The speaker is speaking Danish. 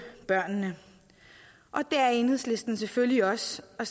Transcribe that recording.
børnene det er enhedslisten selvfølgelig også og